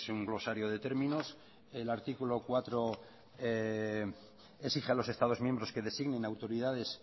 un rosario de términos el artículo cuatro exige a los estados miembros que designen autoridades